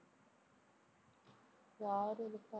யாரு இருக்கா?